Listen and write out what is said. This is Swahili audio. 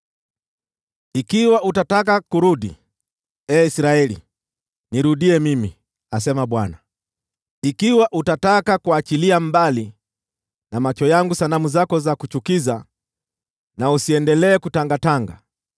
“Ikiwa utataka kurudi, ee Israeli, nirudie mimi,” asema Bwana . “Ikiwa utaondoa sanamu zako za kuchukiza mbele ya macho yangu na usiendelee kutangatanga,